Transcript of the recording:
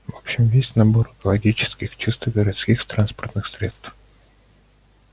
в общем весь набор экологических чистых городских транспортных средств